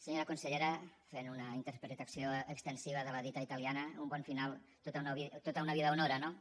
senyora consellera fent una interpretació extensiva de la dita italiana un bon final tota una vida honora no